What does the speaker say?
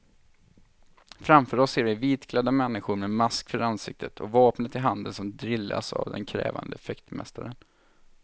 Framför oss ser vi vitklädda människor med mask för ansiktet och vapnet i handen som drillas av den krävande fäktmästaren.